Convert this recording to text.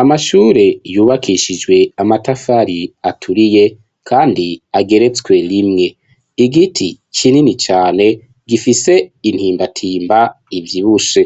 Amashure yubakishijwe amatafari aturiye kandi ageretswe rimwe igiti kinini cane gifise intimbatimba ivyibushe